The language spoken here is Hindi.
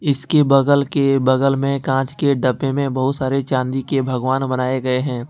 इसके बगल के बगल में कांच के डब्बे में बहुत सारे चांदी के भगवान बनाए गए है।